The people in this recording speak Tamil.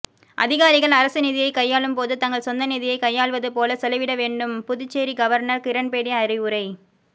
அதிகாரிகள் அரசு நிதியை கையாளும் போது தங்கள் சொந்த நிதியை கையாள்வது போல செலவிட வேண்டும்புதுச்சேரி கவர்னர் கிரன்பேடி அறிவுரை